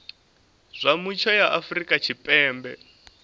zwa mutsho ya afrika tshipembe